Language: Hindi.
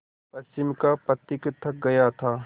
पश्चिम का पथिक थक गया था